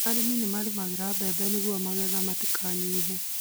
Arĩmi marĩmagĩra mbembe nĩguo magetha matikanyihe